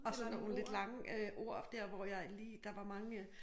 Og så nogle lidt lange øh ord der hvor jeg lige der var mange øh